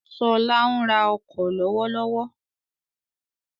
Ṣọlá ń ra ọkọ̀ lọ́wọ́lọ́wọ́.